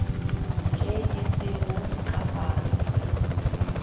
tše di sego ka fase